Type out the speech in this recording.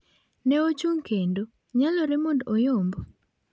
Ne ochung' kendo, nyalore mondo oyomb?